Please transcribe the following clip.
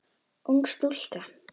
Ung stúlka.